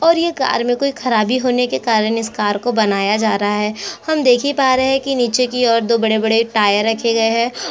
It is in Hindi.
और ये कार में कोई खराबी होने के कारण इस कार को बनाया जा रहा है हम देख ही पा रहे है कि नीचे की ओर दो बड़े- बड़े टायर रखे गए हैं।